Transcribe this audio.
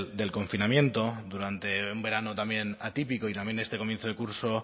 del confinamiento durante un verano también atípico y también de este comienzo de curso